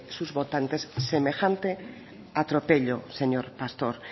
sus votantes semejante atropello señor pastor